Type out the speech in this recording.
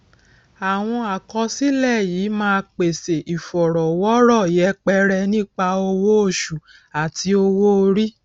àwọn àkọsílẹ yìí ma pèsè ìfọrọwọrọ yẹpẹrẹ nípa owó oṣù àti owó orí